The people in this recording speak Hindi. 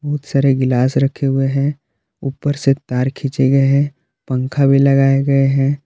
बहुत सारे गिलास रखे हुए हैं ऊपर से तार खींचे गए हैं पंखा भी लगाए गए हैं।